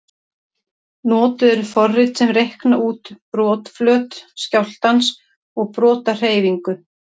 Notuð eru forrit sem reikna út brotflöt skjálftans og brotahreyfingu.